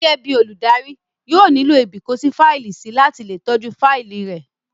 Gẹ́gẹ́ bíi olùdarí, yóò nílò ibìkófáìlì sí láti le tọ́jú fáìlì rẹ̀